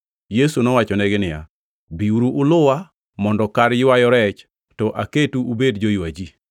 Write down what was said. Yesu nowachonegi niya, “Biuru uluwa, mondo kar ywayo rech to aketu ubed joywa ji.”